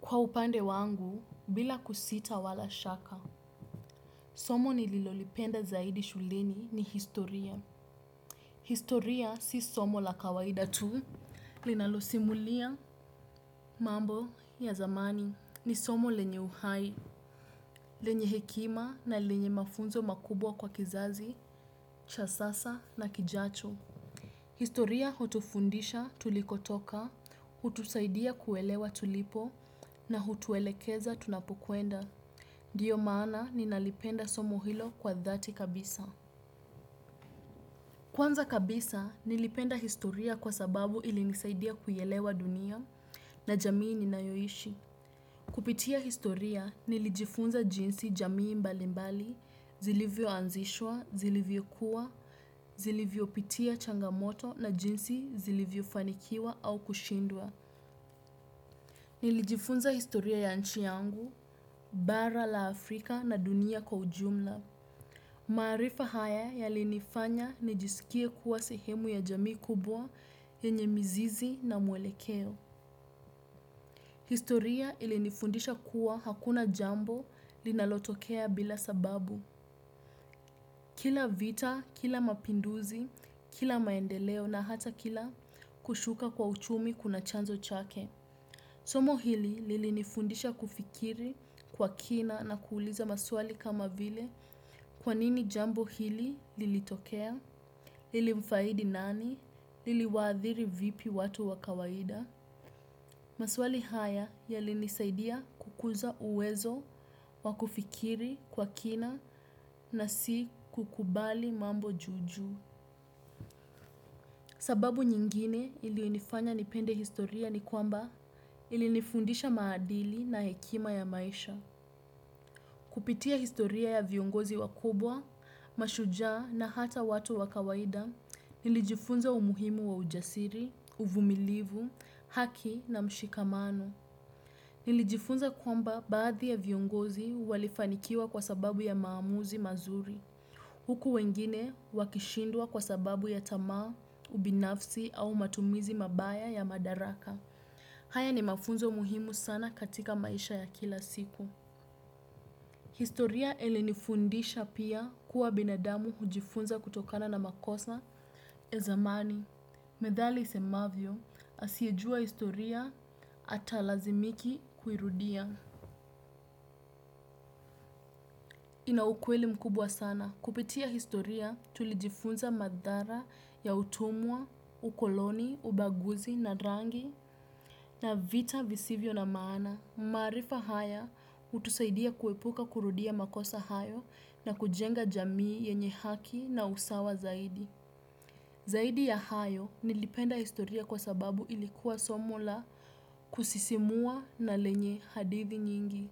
Kwa upande wangu, bila kusita wala shaka. Somo nililolipenda zaidi shuleni ni historia. Historia si somo la kawaida tu. Linalosimulia mambo ya zamani. Ni somo lenye uhai, lenye hekima na lenye mafunzo makubwa kwa kizazi cha sasa na kijacho. Historia hutufundisha tulikotoka, hutusaidia kuelewa tulipo na hutuelekeza tunapokwenda. Ndiyo maana ninalipenda somo hilo kwa dhati kabisa. Kwanza kabisa nilipenda historia kwa sababu ilinisaidia kuielewa dunia na jamii ninayoishi. Kupitia historia nilijifunza jinsi jamii mbalimbali, zilivyoanzishwa, zilivyokua, zilivyopitia changamoto na jinsi zilivyofanikiwa au kushindwa. Nilijifunza historia ya nchi yangu, bara la Afrika na dunia kwa ujumla. Maarifa haya yalinifanya nijisikie kuwa sehemu ya jamii kubwa yenye mizizi na mwelekeo. Historia ilinifundisha kuwa hakuna jambo linalotokea bila sababu. Kila vita, kila mapinduzi, kila maendeleo na hata kila kushuka kwa uchumi kuna chanzo chake. Somo hili lilinifundisha kufikiri kwa kina na kuuliza maswali kama vile kwanini jambo hili lilitokea. Lilimfaidi nani? Liliwaathiri vipi watu wa kawaida? Maswali haya yalinisaidia kukuza uwezo wa kufikiri kwa kina na si kukubali mambo juu juu. Sababu nyingine iliyonifanya nipende historia ni kwamba ilinifundisha maadili na hekima ya maisha. Kupitia historia ya viongozi wakubwa, mashujaa na hata watu wa kawaida nilijifunza umuhimu wa ujasiri, uvumilivu, haki na mshikamano. Nilijifunza kwamba baadhi ya viongozi walifanikiwa kwa sababu ya maamuzi mazuri. Huku wengine wakishindwa kwa sababu ya tamaa, ubinafsi au matumizi mabaya ya madaraka. Haya ni mafunzo muhimu sana katika maisha ya kila siku. Historia ilinifundisha pia kuwa binadamu hujifunza kutokana na makosa ya zamani. Methali isemavyo, asiyejua historia atalazimika kuirudia. Ina ukweli mkubwa sana. Kupitia historia tulijifunza madhara ya utumwa, ukoloni, ubaguzi na rangi na vita visivyo na maana. Maarifa haya hutusaidia kuepuka kurudia makosa hayo na kujenga jamii yenye haki na usawa zaidi. Zaidi ya hayo, nilipenda historia kwa sababu ilikuwa somo la kusisimua na lenye hadithi nyingi.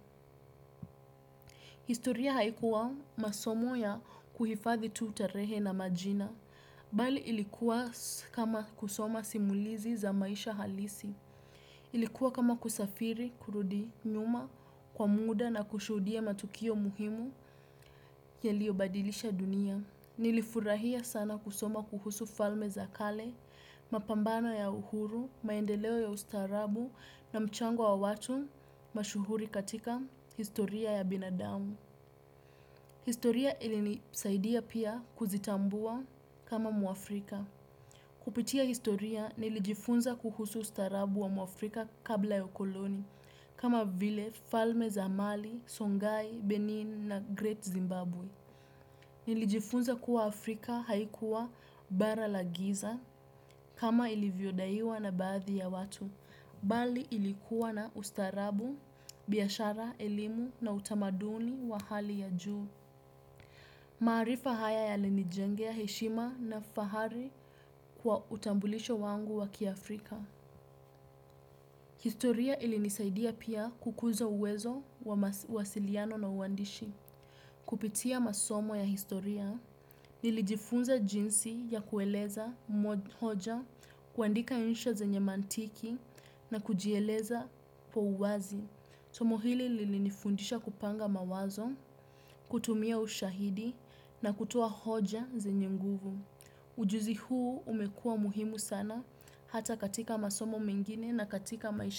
Historia haikuwa masomo ya kuhifadhi tu tarehe na majina, bali ilikuwa kama kusoma simulizi za maisha halisi. Ilikuwa kama kusafiri, kurudi nyuma kwa muda na kushuhudia matukio muhimu yaliyobadilisha dunia. Nilifurahia sana kusoma kuhusu falme za kale, mapambano ya uhuru, maendeleo ya ustaarabu na mchango wa watu mashuhuri katika historia ya binadamu. Historia ilinisaidia pia kuzitambua kama mwafrika. Kupitia historia nilijifunza kuhusu ustaarabu wa mwafrika kabla ya ukoloni kama vile falme za Mali, Songhai, Benin na Great Zimbabwe. Nilijifunza kuwa Afrika haikuwa bara la giza kama ilivyodaiwa na baadhi ya watu, bali ilikuwa na ustaarabu, biashara, elimu na utamaduni wa hali ya juu. Maarifa haya yalinijengea heshima na fahari kwa utambulisho wangu wa kiafrika. Historia ilinisaidia pia kukuza uwezo wa mawasiliano na uandishi. Kupitia masomo ya historia, nilijifunza jinsi ya kueleza hoja, kuandika insha zenye mantiki na kujieleza kwa uwazi. Somo hili lilinifundisha kupanga mawazo, kutumia ushahidi na kutoa hoja zenye nguvu. Ujuzi huu umekuwa muhimu sana hata katika masomo mengine na katika maisha.